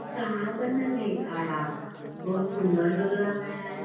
कहां बनल हेय घड़ा बहुत सुंदर लग रहले हे।